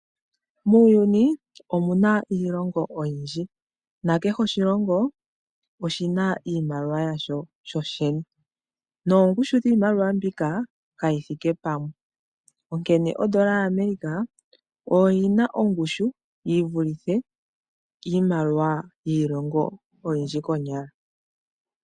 Muuyuni omuna iilongo oyindji nakehe oshilongo oshina iimaliwa yasho shoshene, noongushu dhiimaliwa mbika kayithike pamwe onkene ondola yAmerica oyina ongushu yivulithe iimaliwa yiilongo oyindji konyala.